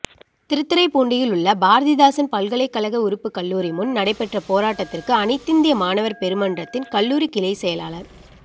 திருத்துறைப்பூண்டியில் உள்ள பாரதிதாசன் பல்கலைக்கழக உறுப்பு கல்லூரி முன் நடைபெற்ற போராட்டத்துக்கு அனைத்திந்திய மாணவா் பெருமன்றத்தின் கல்லூரி கிளை செயலாளா்